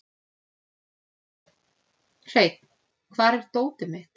Hreinn, hvar er dótið mitt?